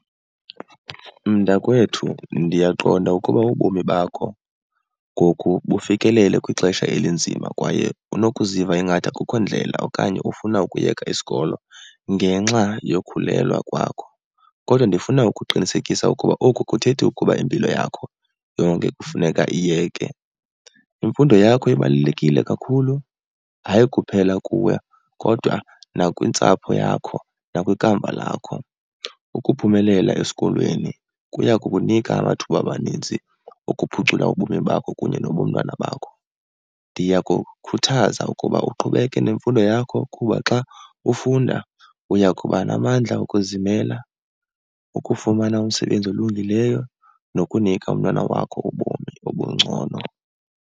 Mntakwethu, ndiyaqonda ukuba ubomi bakho ngoku bufikelele kwixesha elinzima kwaye unokuziva ingathi akukho ndlela okanye ufuna ukuyeka isikolo ngenxa yokhulelwa kwakho. Kodwa ndifuna ukuqinisekisa ukuba oku akuthethi ukuba impilo yakho yonke kufuneka iyeke. Imfundo yakho ibalulekile kakhulu, hayi kuphela kuwe kodwa nakwintsapho yakho nakwikamva lakho. Ukuphumelela esikolweni kuya kukunika amathuba amaninzi okuphucula ubomi bakho kunye nobomntwana bakho. Ndiyakukhuthaza ukuba uqhubeke nemfundo yakho kuba xa ufunda uyakuba namandla okuzimela, ukufumana umsebenzi olungileyo, nokunika umntwana wakho ubomi obungcono.